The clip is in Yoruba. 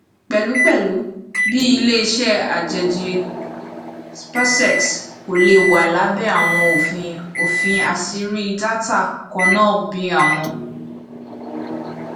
pẹlupẹlu bi ileiṣẹ ajeji spacex ko le wa labẹ awọn ofin ofin aṣiri data kanna bi awọn